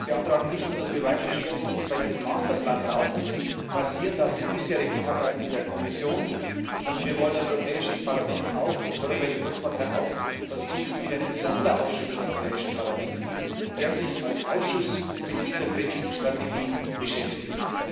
wir beantragen nicht nur, dass wir weitere Schwerpunkte bei diesem Masterplan brauchen, basierend auf den bisherigen Arbeiten der Kommission, sondern wir wollen als Europäische Volkspartei auch, dass es zukünftig einen Sonderausschuss des Europäischen Parlaments gibt, der sich als Ausschuss mit dieser Krebsstrategie beschäftigt.